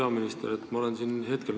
Auväärt peaminister!